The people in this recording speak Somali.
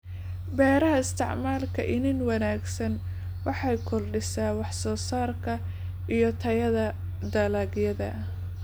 Beeraha Isticmaalka iniin wanaagsan waxay kordhisaa wax-soosaarka iyo tayada dalagyada.